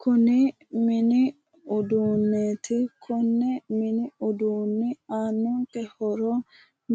Kuni mini uduunneeti konne mini uduunne aannonke horo